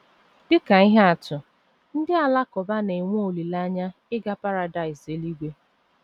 Dị ka ihe atụ, ndị Alakụba na - enwe olileanya ịga paradaịs eluigwe.